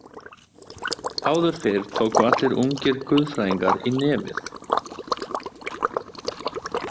"Áður fyrr tóku allir úngir guðfræðingar í nefið. """